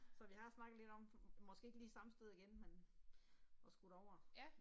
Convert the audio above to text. Så vi har snakket lidt om, måske ikke lige samme sted igen, men og skulle derover